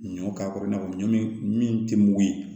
Ɲɔ k'a kɔrɔ i n'a fɔ ɲɔ min tɛ mugu ye